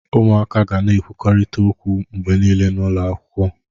Ụmụaka ga na-ekwurịta okwu mgbe niile n'ụlọ akwụkwọ.